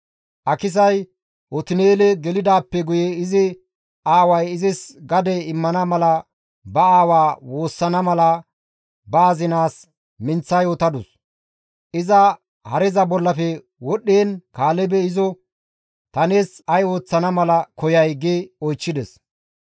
Akisay Otin7eele gelidaappe guye izi aaway izis gade immana mala ba aawaa woossana mala ba azinaas minththa yootadus; iza hareza bollafe wodhdhiin Kaalebey izo, «Ta nees ay ooththana mala koyay?» gi oychchides.